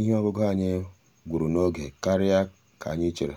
ihe ọṅụṅụ anyị gwuru n'oge karịa ka anyị chere